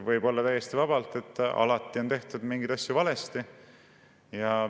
Võib olla täiesti vabalt, et alati on tehtud mingeid asju valesti.